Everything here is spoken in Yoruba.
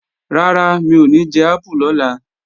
Rárá, mi ò ní jẹ ápù lọ́la